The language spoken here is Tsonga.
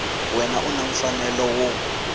wana u na mfanelo wo